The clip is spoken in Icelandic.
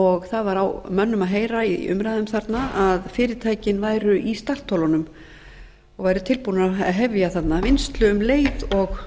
og það var á mönnum að heyra í umræðum þarna að fyrirtækin væru í startholunum og væru tilbúin að hefja þarna vinnslu um leið og